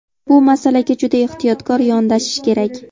Bu masalaga juda ehtiyotkor yondashish kerak.